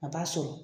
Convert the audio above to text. A b'a sɔrɔ